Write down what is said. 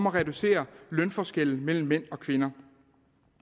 at reducere lønforskellen mellem mænd og kvinder